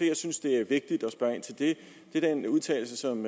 jeg synes det er vigtigt at spørge ind til det er den udtalelse som